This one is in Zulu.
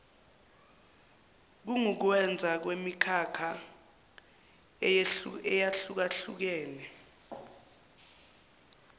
kungukwenza kwemikhakha eyehlukahlukene